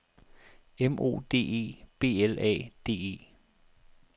M O D E B L A D E